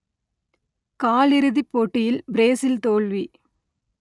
காலிறுதிப் போட்டியில் பிரேசில் தோல்வி